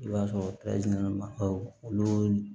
I b'a sɔrɔ olu